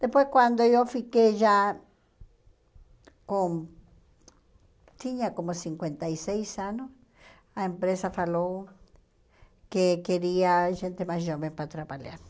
Depois, quando eu fiquei já com... tinha como cinquenta e seis anos, a empresa falou que queria gente mais jovem para trabalhar.